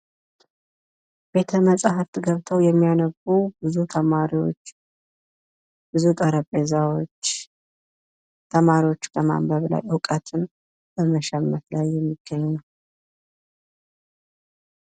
ቤተመጻሕፍት ገብተው የሚያነቡ ብዙ ተማሪዎች ብዙ ጠረጴዛዎች ተማሪዎች በማንበብ ላይ እውቀትን በመሸመት ላይ የሚገኙ።